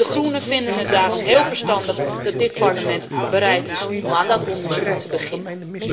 De Groenen vinden het daarom heel verstandig dat dit Parlement bereid is om aan dat onderzoek te beginnen.